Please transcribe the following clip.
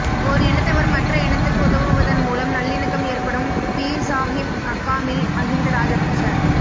ஒர் இனத்தவர் மற்ற இனத்துக்கு உதவுவதன் மூலம் நல்லிணக்கம் ஏற்படும் பீர்சாஹிப் மக்காமில் மஹிந்த ராஜபக்ஷ